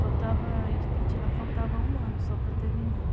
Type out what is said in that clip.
Faltava, eu lá, faltava um ano só para terminar.